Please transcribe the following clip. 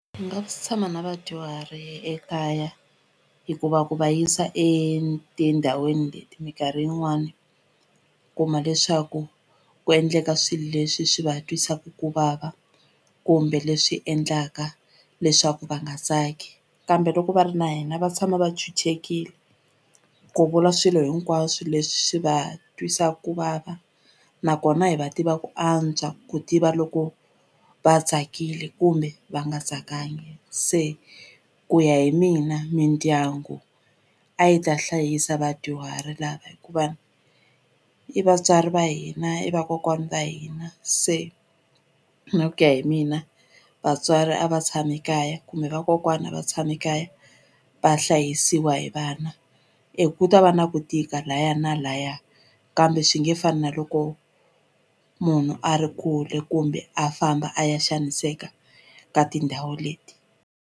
Ndzi nga tshama na vadyuhari ekaya hikuva ku va yisa etindhawini leti mikarhi yin'wani kuma leswaku ku endleka swilo leswi swi va twisaku ku vava kumbe leswi endlaka leswaku va nga tsaki kambe loko va ri na hina va tshama va chuchekile ku vula swilo hinkwaswo leswi swi va twisaku ku vava nakona hi va tiva ku antswa ku tiva loko va tsakile kumbe va nga tsakangi se ku ya hi mina mindyangu a yi ta hlayisa vadyuhari lava hikuva i vatswari va hina i vakokwani va hina se na ku ya hi mina vatswari a va tshami kaya kumbe vakokwani a va tshami kaya va hlayisiwa hi vana ku ta va na ku tika laya na laya kambe swi nge fani na loko munhu a ri kule kumbe a famba a ya xaniseka ka tindhawu leti.